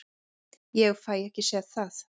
Ég fæ ekki séð það.